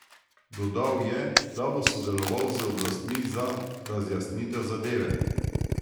Dodal je, da bo sodeloval z oblastmi za razjasnitev zadeve.